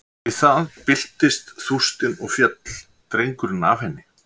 Við það byltist þústin og féll drengurinn af henni.